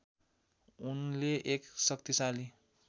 उनले एक शक्तिशाली